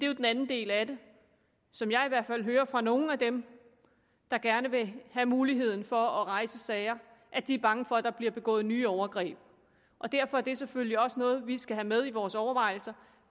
jo den anden del af det som jeg i hvert fald hører fra nogle af dem der gerne vil have muligheden for at rejse sager at de er bange for at der bliver begået nye overgreb derfor er det selvfølgelig også noget vi skal have med i vores overvejelser